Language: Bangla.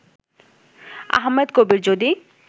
আহমেদ কবির যদি